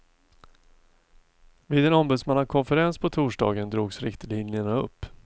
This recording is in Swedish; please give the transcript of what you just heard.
Vid en ombudsmannakonferens på torsdagen drogs riktlinjerna upp.